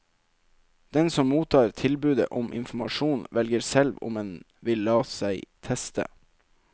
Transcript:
Den som mottar tilbudet om informasjon, velger selv om en vil la seg teste.